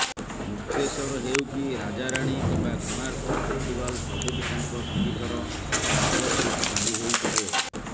ମୁକ୍ତେଶ୍ୱର ହେଉ କି ରାଜାରାଣୀ କିମ୍ବା କୋଣାର୍କ ଫେଷ୍ଟିଭାଲ୍ ସବୁଠି ତାଙ୍କ ସଙ୍ଗୀତର ଉପସ୍ଥିତି ବାରି ହୋଇପଡ଼େ